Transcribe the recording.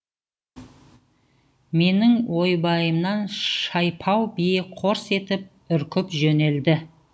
менің ойбайымнан шайпау бие қорс етіп үркіп жөнелді